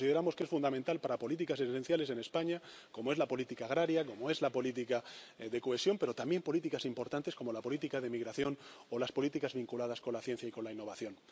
Porque consideramos que es fundamental para políticas esenciales en España, como es la política agraria, como es la política de cohesión, pero también políticas importantes, como la política de inmigración o las políticas vinculadas con la ciencia y con la innovación.